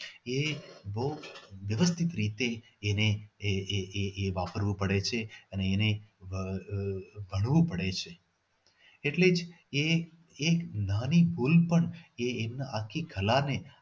એ બહુ નિર્દય રીતે એને એ એ એ એ વાપરવું પડે છે તે અને તે આહ આહ ભરવું પડે છે એટલે જ એ એ એક નાની ભૂલ પણ એ એની આખી કળાને